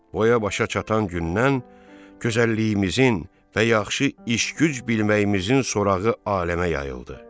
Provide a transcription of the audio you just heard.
Boya-başa çatan gündən gözəlliyimizin və yaxşı iş-güc bilməyimizin sorağı aləmə yayıldı.